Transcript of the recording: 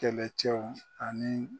Kɛlɛcɛw ani.